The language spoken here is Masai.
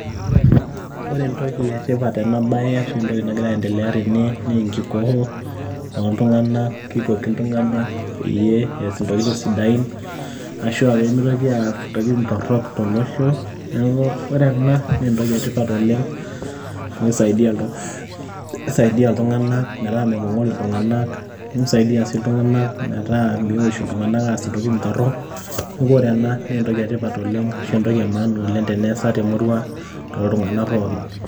Ore entoki e tipat tena bae ashu entoki nagira aindelea tene naa enkikoo oltung'anak, kikoki iltung'anak peyie ees intokitin sidain ashu pee mitoki aas intokitin torok tolosho. Neeku kore ena naa entoki etipat oleng' amu kisaidia iltung'anak metaa mepong'ori iltung'anak, nisaidia sii iltung'anak metaa miush iltung'anak aas intokitin torok. Neeku ore ena naa entoki etipat oleng' ashu entoki e maana oleng' teneesa temurrua toltung'anak pookin.